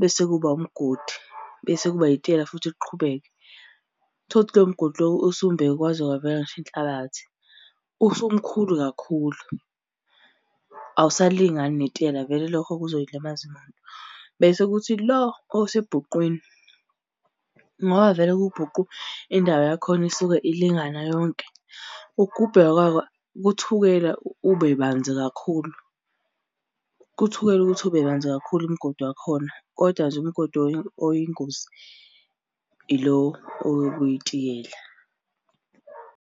bese kuba umgodi, bese kuba itiyela futhi liqhubeke. Uthole ukuthi lo mgodi lowo usumbeke kwaze kwavela ngisho inhlabathi. Usumkhulu kakhulu awusalingani netiyela vele lokho kuzoyilimaza imoto. Bese kuthi lo osebhuqwini, ngoba vele kuwubhuqu, indawo yakhona isuke ilingana yonke, ukugubheka kwako kuthukela ube banzi kakhulu. Kuthukela ukuthi ube banzi kakhulu umgodi wakhona, koda nje umgodi oyingozi ilo oyitiyela.